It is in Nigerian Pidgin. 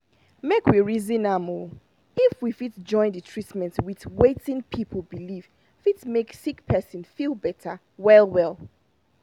make we reason am — if we fit join the treatment with wetin people believe fit make sick person feel better well well.